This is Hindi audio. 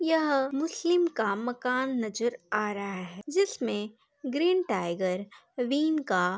यह मुस्लिम का मकान नजर आ रहा है जिसमे ग्रीन टाइगर विन का --